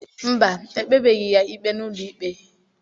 Mba, e kpebeghị ya ikpe n'ụlọikpe.